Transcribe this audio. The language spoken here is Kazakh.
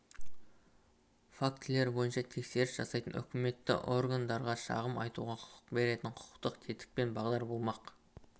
фактілері бойынша тексеріс жасайтын өкілетті органдарға шағым айтуға құқық беретін құқықтық тетік пен бағдар болмақ